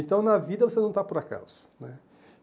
Então, na vida, você não está por acaso né.